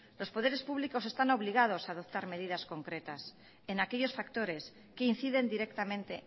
los poderes públicos están obligados a adoptar medidas concretas en aquellos factores que inciden directamente